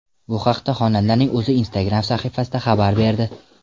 Bu haqda xonandaning o‘zi Instagram sahifasida xabar berdi .